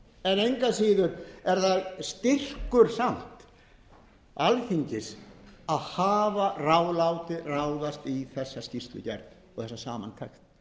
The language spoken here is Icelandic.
engu að síður er það samt styrkur alþingis að hafa látið ráðast í þessa skýrslugerð og þessa samantekt